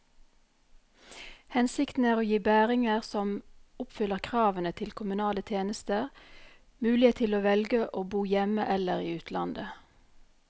Hensikten er å gi bæringer som oppfyller kravene til kommunale tjenester, mulighet til å velge å bo hjemme eller i utlandet.